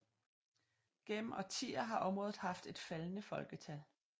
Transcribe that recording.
Gennem årtier har området haft et faldende folketal